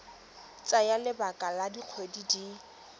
tsaya lebaka la dikgwedi di